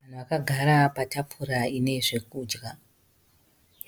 Vanhu vakagara patafura inezvekudya,